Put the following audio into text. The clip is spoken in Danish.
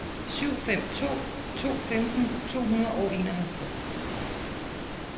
syv fem to to femten to hundrede og enoghalvtreds